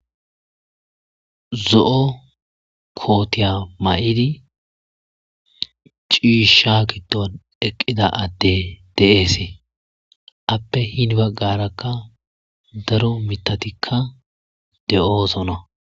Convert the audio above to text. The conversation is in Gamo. Zo'o kootiya mayidi ciisha kiton eqqida adde deeesee. appe hini baggarakka daro mitatikka de'oosona.